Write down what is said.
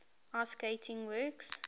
ice skating works